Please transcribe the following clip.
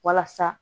Walasa